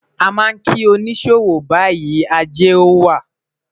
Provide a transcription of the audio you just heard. a ma ki onisowow bayi, Aje a wa o